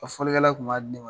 Fɔkɛla tun b'a di ne ma.